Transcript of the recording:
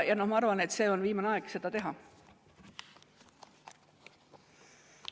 Ja ma arvan, et on viimane aeg seda teha.